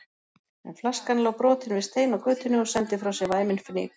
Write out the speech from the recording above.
En flaskan lá brotin við stein á götunni og sendi frá sér væminn fnyk.